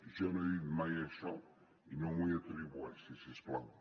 jo no he dit mai això i no m’ho atribueixi si us plau